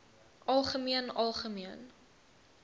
algemeen algemeen